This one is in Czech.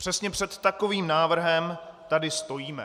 Přesně před takovým návrhem tady stojíme.